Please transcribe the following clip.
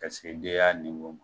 Ka segi ma